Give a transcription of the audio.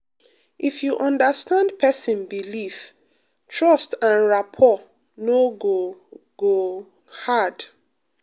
if you understand person belief trust and rapport no go go hard.